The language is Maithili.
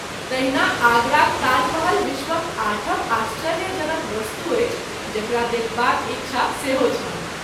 तहिना आगराक ताजमहल विश्वक आठम आश्चर्य जनक वस्तु अछि जकरा देखबाक इच्छा सेहो छल।